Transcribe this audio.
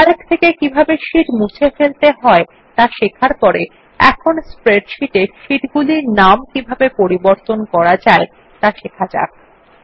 Calc থেকে কিভাবে sheet মুছে ফেলতে হয় তা শেখার পর এখন স্প্রেডশীট এর শীটগুলির নাম কিভাবে পরিবর্তন করা যায় তা শেখা যাক